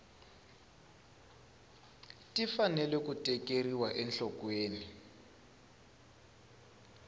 ti fanele ku tekeriwa enhlokweni